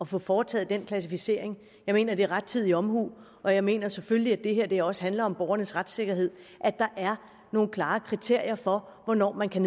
få foretaget den klassificering jeg mener det er rettidig omhu og jeg mener selvfølgelig at det her også handler om borgernes retssikkerhed at der er nogle klare kriterier for hvornår man kan